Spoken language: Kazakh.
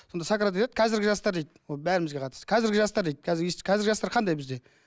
сонда сократ айтады қазіргі жастар дейді ол бәрімізге қатысты қазіргі жастар дейді қазіргі жастар қандай бізде